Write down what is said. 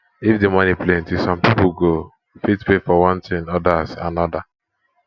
if the money plenty some people go fit pay for one thingothers another